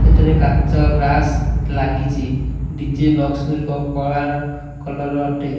ଏଠାରେ କାଚ ଗ୍ଲାସ୍ ଲାଗିଚି ଡି_ଜେ ବକ୍ସ ଗୁରିକ କଳାର କଲର ଅଟେ।